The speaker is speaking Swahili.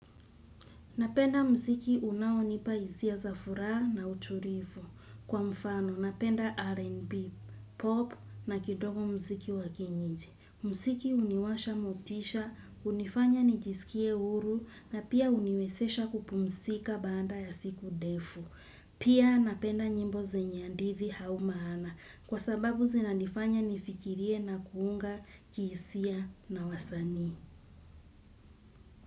Napenda mziki unaonipa hisia za furaha na utulivu. Kwa mfano, napenda R&B, pop na kidogo mziki wa kienyeji. Mziki huniwasha motisha, hunifanya nijisikie huru na pia huniwezesha kupumzika baada ya siku ndefu. Pia napenda nyimbo zenye hadhiti au maana kwa sababu zinanifanya nifikirie na kuunga kiisia na wasani.